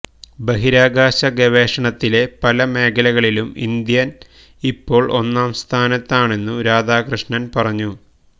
ബഹിരാകാശ ഗവേഷണത്തിലെ പല മേഖലകളിലും ഇന്ത്യ ഇപ്പോള് ഒന്നാം സ്ഥാനത്താണെന്നു രാധാകൃഷ്ണന് പറഞ്ഞു